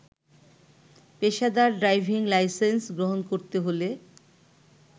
পেশাদার driving licence গ্রহণ করতে হলে